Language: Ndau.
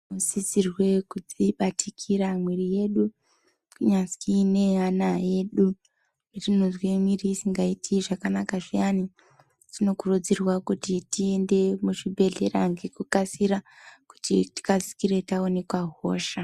Tinosisirwe kudzibatikira mwiri yedu kunyasii neye ana edu petinozwe miri isingaiti zvakanaka zviyani tinokurudzirwa kuti tiende muzvibhehlera ngekukasira kuti tikasire taonekwa hosha